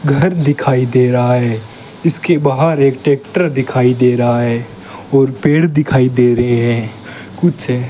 घर दिखाई दे रहा है इसके बाहर एक ट्रैक्टर दिखाई दे रहा है और पेड़ दिखाई दे रहे हैं कुछ --